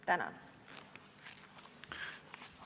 Tänan!